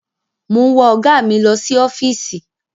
Mò ń wa ọ̀gá mi lọ sí ọ́fíìsì.